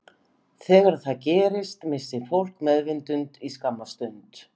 Þegar það gerist missir fólk meðvitund í skamma stund.